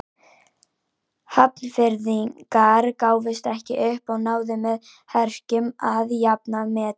Hafnfirðingar gáfust ekki upp og náðu með herkjum að jafna metin.